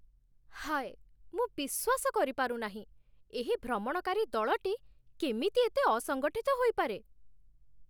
ହାୟ! ମୁଁ ବିଶ୍ୱାସ କରିପାରୁନାହିଁ ଏହି ଭ୍ରମଣକାରୀ ଦଳଟି କେମିତି ଏତେ ଅସଙ୍ଗଠିତ ହୋଇପାରେ!